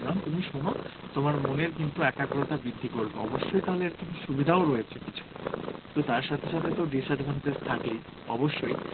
গান তুমি শোনো তোমার মনের কিন্তু একাগ্রতা বৃদ্ধি করবে অবশ্যই তাহলে এর কিন্তু সুবিধা ও রয়েছে কিছুই তো তার সাথে সাথে disadvantage থাকেই অবশ্যই